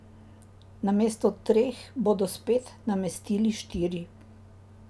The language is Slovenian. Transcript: Namesto treh bodo spet namestili štiri.